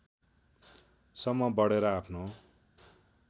सम्म बढेर आफ्नो